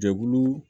Jɛkulu